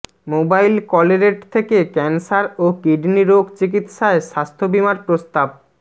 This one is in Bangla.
মোবাইল কলরেট থেকে ক্যানসার ও কিডনি রোগ চিকিৎসায় স্বাস্থ্যবীমার প্রস্তাব